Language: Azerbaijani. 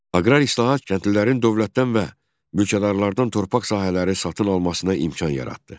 Aqrar islahat kəndlilərin dövlətdən və mülkədarlardan torpaq sahələri satın almasına imkan yaratdı.